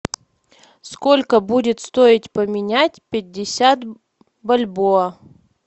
сколько будет стоить поменять пятьдесят бальбоа